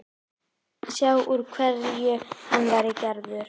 Sjá úr hverju hann væri gerður.